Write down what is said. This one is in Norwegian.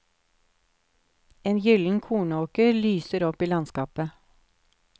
En gyllen kornåker lyser opp i landskapet.